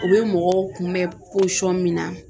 U bɛ mɔgɔw kunbɛn min na